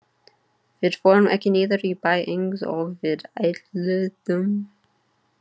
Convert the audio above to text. Við fórum ekki niður í bæ eins og við ætluðum.